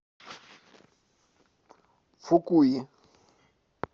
фукуи